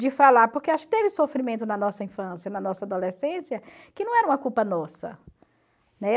De falar, porque acho que teve sofrimento na nossa infância, na nossa adolescência, que não era uma culpa nossa. Né?